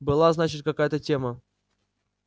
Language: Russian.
была значит какая-то тема